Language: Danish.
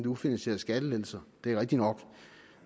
ufinansierede skattelettelser det er rigtigt nok